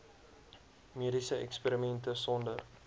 mediese eksperimente sonder